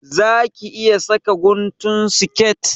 Za ki iya saka guntun siket?